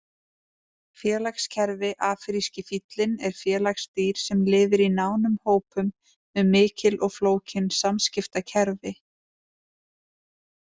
Félagskerfi Afríski fíllinn er félagsdýr sem lifir í nánum hópum með mikil og flókin samskiptakerfi.